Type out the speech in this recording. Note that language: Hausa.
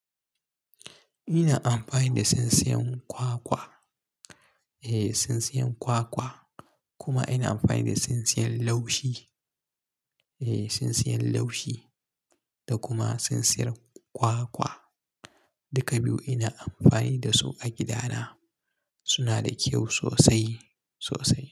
Ina amfani da tsintsiyan kwakwa, eh tsintsiyan kwakwa kuma ina amfani da tsintsiyan laushi, eh tsintsiyan laushi da kuma tsintsiyar kwakwa. Duka biyu ina amfani da su a gida na, suna da kyau sosai sosai.